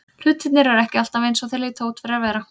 Hlutirnir eru ekki alltaf eins og þeir líta út fyrir að vera.